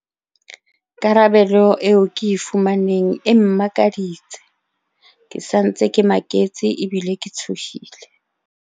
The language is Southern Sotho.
"Karabelo eo ke e fumaneng e mmakaditse. Ke sa ntse ke maketse ebile ke tshohile."